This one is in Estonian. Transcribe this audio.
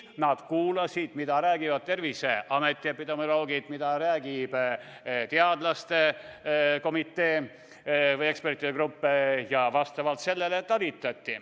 Nad kuulasid, mida räägivad Terviseameti epidemioloogid, mida räägib teadlaste komitee või ekspertide grupp, ja talitasid vastavalt sellele.